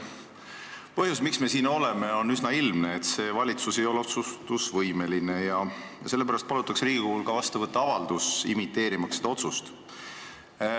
Põhjus, miks me siin oleme, on üsna ilmne: see valitsus ei ole otsustusvõimeline ja sellepärast palutakse Riigikogul ka vastu võtta avaldus, imiteerimaks seda otsust.